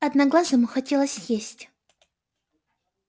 одноглазому хотелось есть